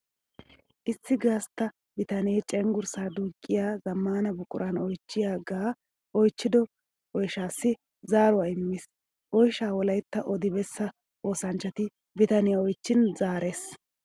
Issi gastta bitanne cenggurssa duuqiya zamaana buquran oychchiyaage oychchiddo oyshshassi zaaruwa immees. Oyshsha wolaytta oddi beessa oosanchchatti bitaniya oychchin zaares.